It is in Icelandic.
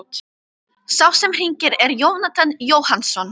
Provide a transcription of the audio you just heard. Sá sem hringir er Jónatan Jóhannsson.